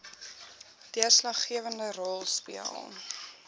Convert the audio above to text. deurslaggewende rol speel